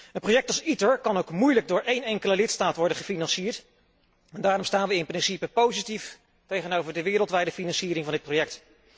Een project als ITER kan ook moeilijk door een enkele lidstaat worden gefinancierd en daarom staan we in principe positief tegenover de wereldwijde financiering van dit project.